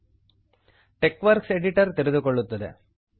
TeXworks editor TeXworks editor ತೆರೆದುಕೊಳ್ಳುತ್ತದೆ